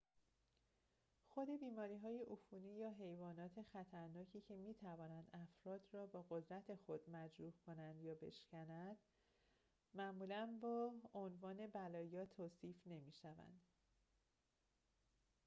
خود بیماری‌های عفونی یا حیوانات خطرناکی که می‌توانند افراد را با قدرت خود مجروح کنند یا بکشند معمولاً با عنوان بلایا توصیف نمی‌شوند